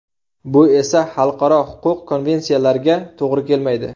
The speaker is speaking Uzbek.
Bu esa xalqaro huquq va konvensiyalarga to‘g‘ri kelmaydi.